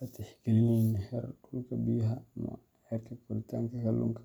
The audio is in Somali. la tixgelinayn heer kulka biyaha ama heerka koritaanka kalluunka.